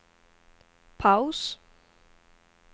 paus